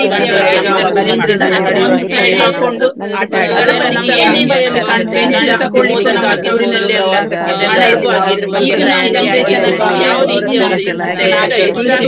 ಮತ್ತೆ ನಮ್ಮ ಮದ್ಲಿನ್ದೇ ನಾವೆಲ್ಲಾ ಹೇಗೆ ಎಲ್ಲಾ ನಾವು ಆಟ ಆಡಿದ್ದು ನಾವು ಹೇಗೆ ನಾವು ಜೊತೆಯಲ್ಲಿ ಎಲ್ಲಿ ಎಲ್ಲಾ ತೀರ್ಗಲಿಕ್ಕೆ ಹೋದದ್ದು, ಪ್ರವಾಸಕ್ಕೆ ಎಲ್ಲಾ ಹೋದದ್ದು ಅದ್ರ ಬಗ್ಗೆ ಎಲ್ಲಾ ನಾವು ತುಂಬಾ ಅವ್ರತ್ರ ಎಲ್ಲಾ ನಾವು ಚರ್ಚೆ ಮಾಡ್ತೇವೆ.